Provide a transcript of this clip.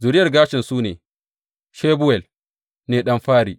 Zuriyar Gershom su ne, Shebuwel ne ɗan fari.